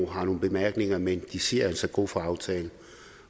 har nogle bemærkninger men de siger altså god for aftalen